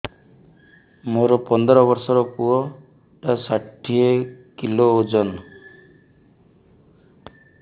ମୋର ପନ୍ଦର ଵର୍ଷର ପୁଅ ଟା ଷାଠିଏ କିଲୋ ଅଜନ